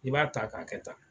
I b'a ta k'a kɛ tan